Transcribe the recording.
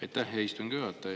Aitäh, hea istungi juhataja!